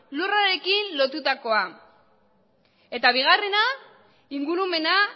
lurrarekin lotutakoa eta bigarrena ingurumena